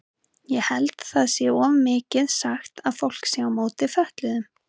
Ég held það sé of mikið sagt að fólk sé á móti fötluðum.